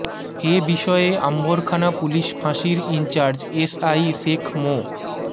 এ বিষয়ে আম্বরখানা পুলিশ ফাঁসির incharge SI Sheikh মো